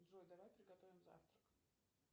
джой давай приготовим завтрак